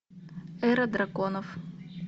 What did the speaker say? эра драконов